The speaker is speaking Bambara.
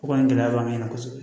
O kɔni gɛlɛya b'an kan kosɛbɛ